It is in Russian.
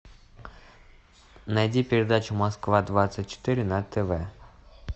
найди передачу москва двадцать четыре на тв